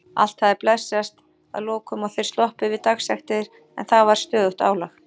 Allt hafði blessast að lokum og þeir sloppið við dagsektir en það var stöðugt álag.